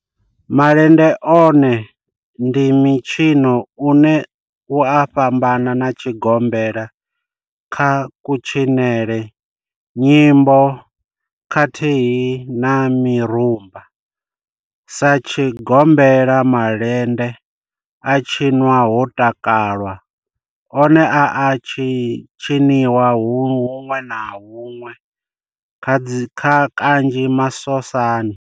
Malende one ndi mitshino une u a fhambana na tshigombela kha kutshinele, nyimbo khathihi na mirumba. Sa tshigombela, malende a tshinwa ho takalwa, one a a tshiniwa hunwe na hunwe kanzhi masosani.